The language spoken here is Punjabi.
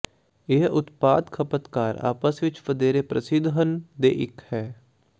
ਇਹ ਉਤਪਾਦ ਖਪਤਕਾਰ ਆਪਸ ਵਿੱਚ ਵਧੇਰੇ ਪ੍ਰਸਿੱਧ ਹਨ ਦੇ ਇੱਕ ਹੈ